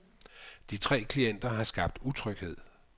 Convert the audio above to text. De tre klienter har skabt utryghed.